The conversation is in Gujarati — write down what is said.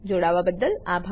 જોવાબદ્દલ આભાર